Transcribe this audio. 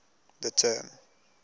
the term